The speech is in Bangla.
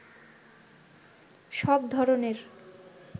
সব ধরনের